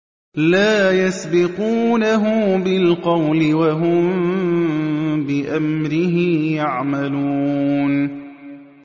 لَا يَسْبِقُونَهُ بِالْقَوْلِ وَهُم بِأَمْرِهِ يَعْمَلُونَ